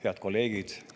Head kolleegid!